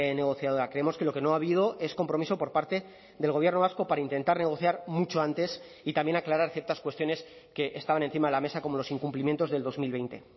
negociadora creemos que lo que no ha habido es compromiso por parte del gobierno vasco para intentar negociar mucho antes y también aclarar ciertas cuestiones que estaban encima de la mesa como los incumplimientos del dos mil veinte